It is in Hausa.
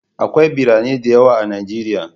Akwai birane da yawa a Najeriya.